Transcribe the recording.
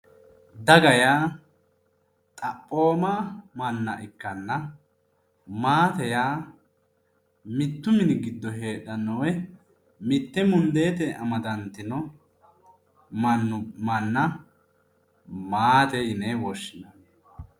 daga yaa xaphooma manna ikkanna maate yaa mittu mini giddo heedhanno woyi mitte mundeetenni amadantino manna maate yine woshshinanni.